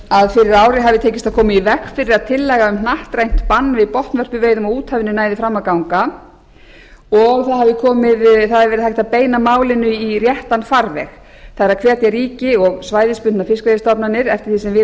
að fyrir ári hafi tekist að koma í veg fyrir að tillaga um hnattrænt bann við botnvörpuveiðum á úthafinu næði fram að ganga og það hafi verið hægt að beina málinu í réttan farveg það er að setja ríki og svæðisbundnar fiskveiðistofnanir eftir því sem við